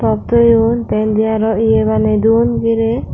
moddeyun tey indi arow ye baneyduon girey.